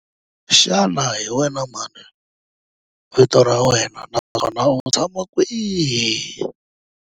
Xana hi wena mani vito ra wena naswona u tshama kwihi?